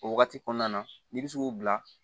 O wagati kɔnɔna na n'i bɛ se k'u bila